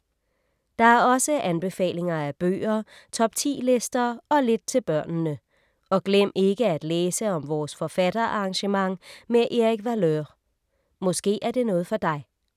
Der er også anbefalinger af bøger, top 10-lister og lidt til børnene. Og glem ikke at læse om vores forfatterarrangement med Erik Valeur. Måske er det noget for dig.